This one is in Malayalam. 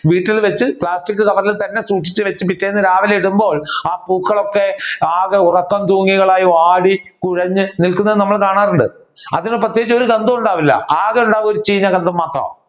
വീട്ടിൽ വെച്ച് കവറിൽ തന്നെ സൂക്ഷിച്ചു വെച്ച് പിറ്റേന്ന് രാവിലെ ഇടുമ്പോൾ ആ പൂക്കൾ ഒക്കെ ആകെ ഉറക്കം തൂങ്ങികളായി വാടി കുഴഞ്ഞു നിൽക്കുന്നത് നമ്മൾ കാണാറുണ്ട്. അതിനു പ്രത്യേകിച്ച് ഒരു ഗന്ധവും ഉണ്ടാവില്ല ആകെ ഉണ്ടാകുന്നത് ഒരു ചീഞ്ഞ ഗന്ധം മാത്രമാണ്